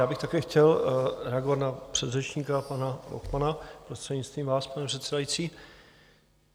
Já bych také chtěl reagovat na předřečníka pana Lochmana, prostřednictvím vás, pane předsedající.